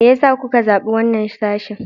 Me yasa kuka zabi wannan sashin?